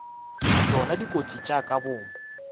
tšona dikotsi tša ka boomo